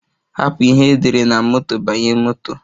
Hapụ ihe e dere na moto banye moto